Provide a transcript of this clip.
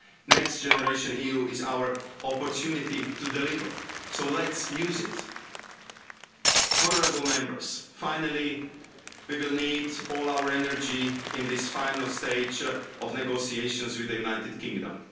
Next Generation EU is our opportunity to deliver. Let's use it! Finally, we will need all our energy in this final stage of negotiations with the United Kingdom.